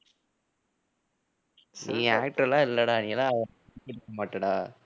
நீ actor லாம் இல்லைடா நீ எல்லாம் மாட்டடா.